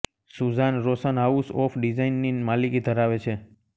Sussanne Roshan house of ડિઝાઈનની માલિકી ધરાવે છે